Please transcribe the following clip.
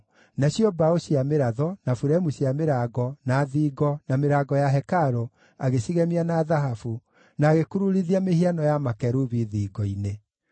Nacio mbaũ cia mĩratho, na buremu cia mĩrango, na thingo, na mĩrango ya hekarũ, agĩcigemia na thahabu, na agĩkururithia mĩhiano ya makerubi thingo-inĩ.